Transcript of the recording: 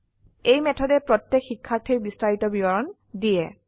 এই মেথডে প্ৰত্যেক শিক্ষাৰ্থীৰ বিস্তাৰিত বিৱৰণ দিয়ে